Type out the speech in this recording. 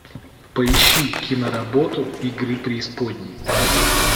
поищи киноработу игры преисподней